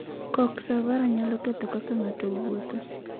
Coxa vara nyalo ketho kaka ng'ato wuotho.